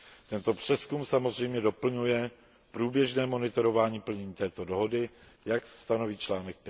Tento přezkum samozřejmě doplňuje průběžné monitorování plnění této dohody, jak stanoví článek